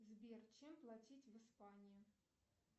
сбер чем платить в испании